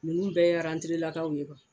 Ninnu bɛ lakaw ye